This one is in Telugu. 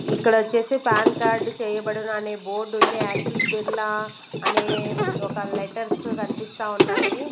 ఇక్కడ వచ్చేసి పాన్ కార్డ్ చేయబడును అనే బోర్డు ఉంది యాక్సిస్ బిర్లా అనే ఒక లెటర్స్ కనిపిస్తా ఉన్నాయి.